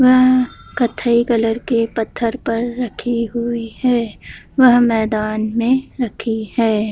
वह कत्थई कलर के पत्थर पर रखी हुई है वह मैदान में रखी है।